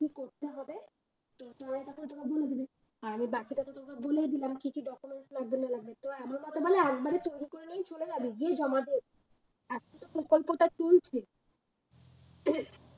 আর আমি বাকিটা তো তোকে বলে দিলাম কি কি documents লাগবে না লাগবে তো আমার মতে বলে একবারে তৈরি করে নিয়েই চলে যাবি, গিয়ে জমা দিয়ে দিবি এখনতো প্রকল্পটা চলছে।